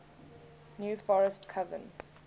new forest coven